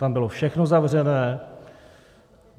Tam bylo všechno zavřené.